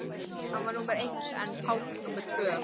Hann var númer eitt en Páll númer tvö.